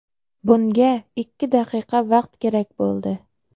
Bunga ikki daqiqa vaqt kerak bo‘ldi.